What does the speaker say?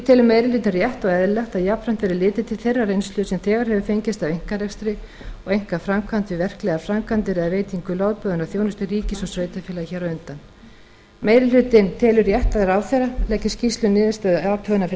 telur meiri hlutinn rétt og eðlilegt að jafnframt verði litið til þeirrar reynslu sem þegar hefur fengist af einkarekstri og einkaframkvæmd við verklegar framkvæmdir eða veitingu lögboðinnar þjónustu ríkis og sveitarfélaga hér á landi meiri hlutinn telur rétt að ráðherra leggi skýrslu um niðurstöðu athugunarinnar fyrir